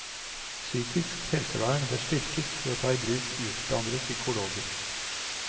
Psykisk helsevern bør styrkes ved å ta i bruk utdannede psykologer.